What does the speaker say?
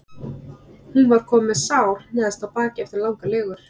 Hún var komin með sár neðst á bakið eftir langar legur.